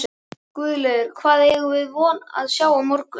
Guðlaugur, hvað eigum við von á að sjá á morgun?